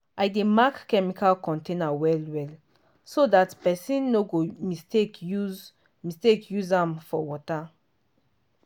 i dey mark chemical container well well so dat person no go mistake use mistake use am for water.